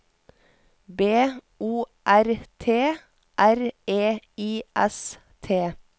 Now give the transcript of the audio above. B O R T R E I S T